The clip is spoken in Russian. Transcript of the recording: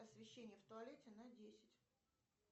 освещение в туалете на десять